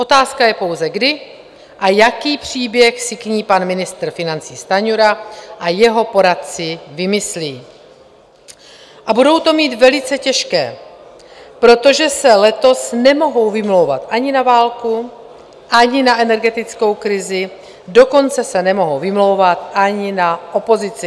Otázka je pouze, kdy a jaký příběh si k ní pan ministr financí Stanjura a jeho poradci vymyslí, a budou to mít velice těžké, protože se letos nemohou vymlouvat ani na válku, ani na energetickou krizi, dokonce se nemohou vymlouvat ani na opozici.